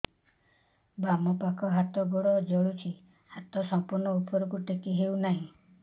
ବାମପାଖ ହାତ ଗୋଡ଼ ଜଳୁଛି ହାତ ସଂପୂର୍ଣ୍ଣ ଉପରକୁ ଟେକି ହେଉନାହିଁ